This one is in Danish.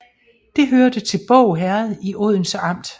Det hørte til Båg Herred i Odense Amt